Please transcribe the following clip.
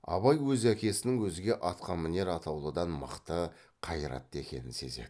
абай өз әкесінің өзге атқамінер атаулыдан мықты қайратты екенін сезеді